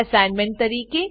assignment તરીકે